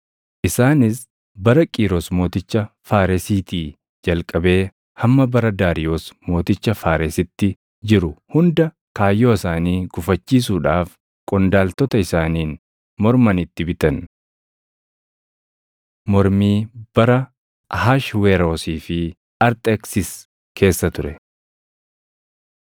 Isaanis bara Qiiros mooticha Faaresiitii jalqabee hamma bara Daariyoos mooticha Faaresitti jiru hunda kaayyoo isaanii gufachiisuudhaaf qondaaltota isaaniin morman itti bitan. Mormii Bara Ahashweroosii fi Arxeksis Keessa Ture